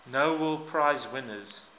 nobel prize winners